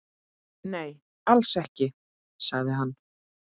Nei, alls ekki, sagði hann.